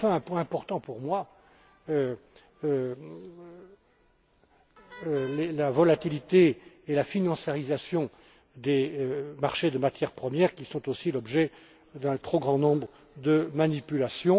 Enfin, un point important pour moi, le règlement traite de la volatilité et de la financiarisation des marchés de matières premières, qui sont aussi l'objet d'un trop grand nombre de manipulations.